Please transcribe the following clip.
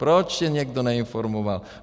Proč je někdo neinformoval?